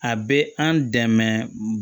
A bɛ an dɛmɛ